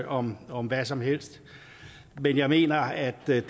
om om hvad som helst men jeg mener at det